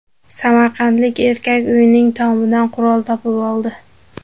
Samarqandlik erkak uyining tomidan qurol topib oldi.